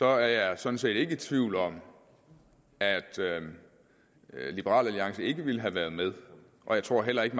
er jeg sådan set ikke i tvivl om at liberal alliance ikke ville have været med jeg tror heller ikke